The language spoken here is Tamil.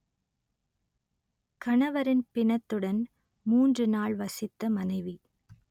கணவரின் பிணத்துடன் மூன்று நாள் வசித்த மனைவி